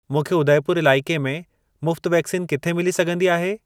मूंखे उदयपुर इलाइके में मुफ़्त वैक्सीन किथे मिली सघंदी आहे?